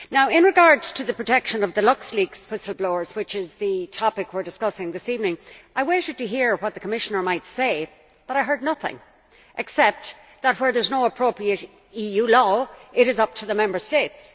In regard to the protection of the LuxLeaks whistle blowers, which is the topic we are discussing this evening, I waited to hear what the Commissioner might say, but I heard nothing except that where there is no appropriate EU law it is up to the Member States.